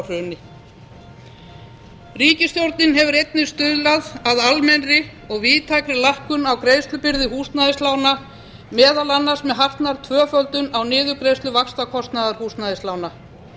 frá hruni ríkisstjórnin hefur einnig stuðlað að almennri og víðtækri lækkun á greiðslubyrði húsnæðislána meðal annars með hartnær tvöföldun á niðurgreiðslu vaxtakostnaðar húsnæðislána